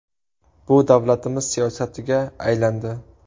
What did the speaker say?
Bu davlatimiz siyosatiga aylandi.